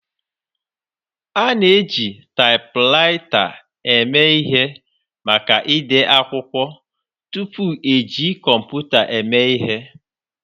A na-eji taipwraita eme ihe maka ide akwụkwọ tupu eji kọmputa eme ihe